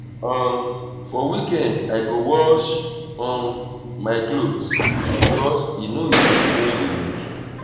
um for weekend i go wash um my clothes because e no easy during the week.